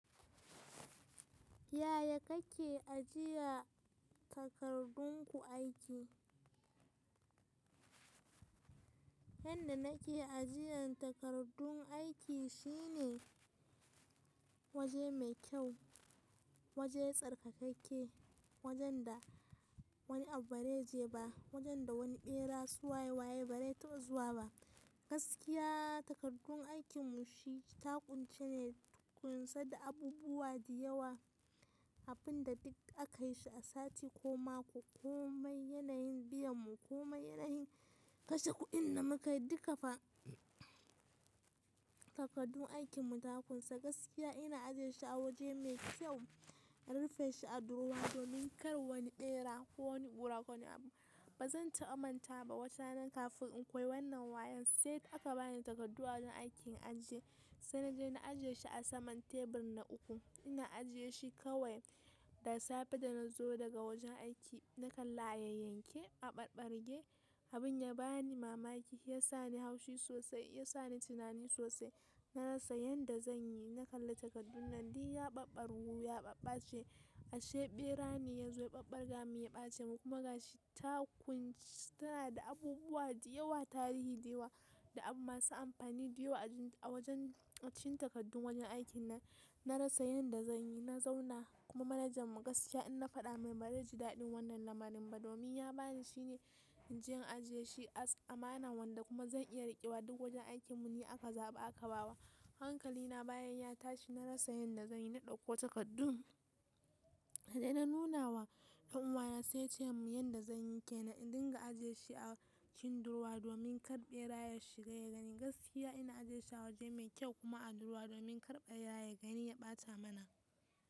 Yaya kake ajiya takardun ku aiki? Yanda nake ajiyan takardun aiki shine waje mai kyau, waje tsarkakakke, wajen da wani abu bare je ba, wajen da wani bera su waye waye bare taɓa zuwa ba. Gaskiya takardun aikin mu shi taƙunci ne, ƙunsa da abubuwa da yawa abunda duk aka yi shi a sati ko mako komai yanayin biyan mu komai yanayin kashe kuɗin da muka yi duka fa takardun aikin mu ta ƙunsa. Gaskiya ina ajiyeshi a waje mai kyau, na rufe shi a durowa domin kar wani ɓera ko wani ƙura ko wani abu. Ba zan taɓa mantawa ba watarana kafin in koyi wannan wayon sai da aka bani takardu awajen aiki in ajiye sai naje na ajiye shi a saman tebur na uku. Ina ajiye shi kawai da safe da nazo daga wajen aiki na kalla a yayyanke, a ɓarɓarge abin ya bani mamaki ya sa ni haushi sosai ya sa ni tunani sosai. Na rasa yanda zan yi, na kalla takardun nan duk ya ɓaɓarwu, ya ɓaɓɓaci, ashe ɓera ne ya zo ya ɓaɓɓarga mun ya ɓace mun kuma gashi ta ƙunci tana da abubuwa da yawa tarihi da yawa da abu masu amfani da yawa a wajen cin takardun wajen aikin nan. Na rasa yanda zan yi, na zauna kuma manajan mu gaskiya in na faɗa mai bare ji daɗin wannan lamarin ba domin ya bani shine inje in ajiye shi amana wanda kuma zan iya riƙewa duk wajen aikin mu ni aka zaɓa aka ba wa. Hankali na bayan ya tashi na rasa yanda zan yi, na ɗauko takardun na je na nuna wa ɗan uwana sai ya ce mun yanda zan yi kenan in dinga ajiye shi a cikin durowa domin kar ɓera ya shiga ya gani. Gaskiya ina ajiyeshi a waje mai kyau kuma a durowa domin kar ɓera ya gani ya ɓata mana.